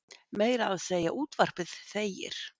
Meira að segja útvarpið þegir.